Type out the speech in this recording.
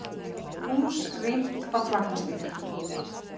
Hús rýmt á Klapparstíg